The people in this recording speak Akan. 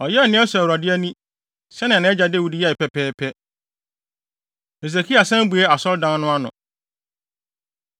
Ɔyɛɛ nea ɛsɔ Awurade ani, sɛnea nʼagya Dawid yɛe pɛpɛɛpɛ. Hesekia San Bue Asɔredan No Ano